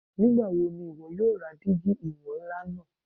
Nigbawo ni iwọ yoo ra digi iwọn nla naa